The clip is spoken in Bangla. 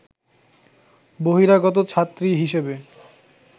বহিরাগত ছাত্রী হিসেবে